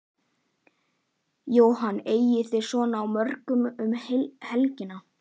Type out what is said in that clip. Jóhann: Eigið þið vona á mörgum um helgina?